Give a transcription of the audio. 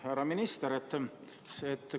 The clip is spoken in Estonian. Härra minister!